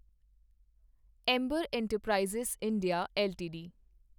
Amber enterprises India LTD